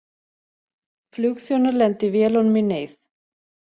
Flugþjónar lendi vélunum í neyð